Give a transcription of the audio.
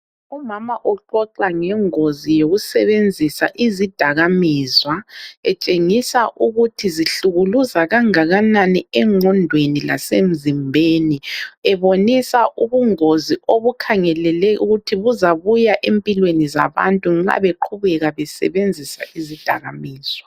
Umama uxoxa ngengozi yokusebenzisa izidakaminzwa etshengisa ukuthi zihlukuluza kangakanani engqondweni lasemzimbeni. Ebonisa ubungozi obukhangelele ukuthi buzabuya empilweni zabantu nxa beqhubeka besebenzisa izidakaminzwa.